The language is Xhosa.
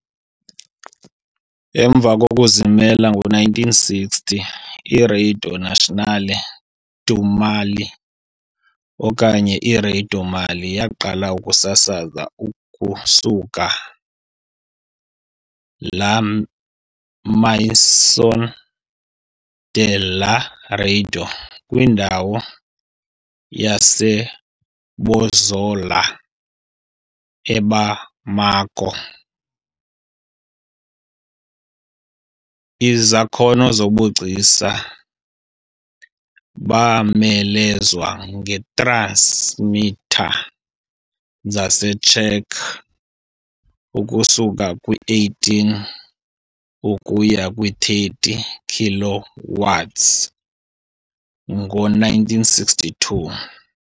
Emva kokuzimela ngo-1960, iRadio Nationale du Mali, okanye iRadio-Mali, yaqala ukusasaza ukusuka "la maison de la Radio" kwindawo yaseBozola eBamako. Izakhono zobugcisa bomelezwa ngee-transmitter zaseCzech ukusuka kwi-18 ukuya kwi-30 kilowatts ngo-1962.